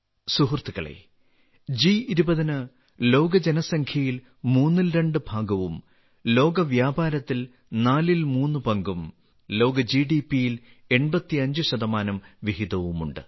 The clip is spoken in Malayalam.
സുഹൃത്തുക്കളേ ജി20 ന് ലോക ജനസംഖ്യയിൽ മൂന്നിൽ രണ്ട് ഭാഗവും ലോക വ്യാപാരത്തിൽ നാലിൽ മൂന്ന് പങ്കും ലോക ജിഡിപിയിൽ 85 വിഹിതവുമുണ്ട്